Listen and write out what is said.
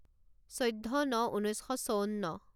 চৈধ্য ন ঊনৈছ শ চৌৱন্ন